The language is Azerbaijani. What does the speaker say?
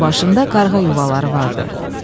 Onun başında qarğa yuvaları vardı.